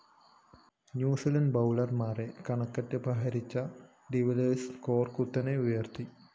New Zealand ബൗളര്‍മാരെ കണക്കറ്റ് പ്രഹരിച്ച ഡിവില്ലിയേഴ്‌സ് സ്കോർ കുത്തനെ ഉയര്‍ത്തി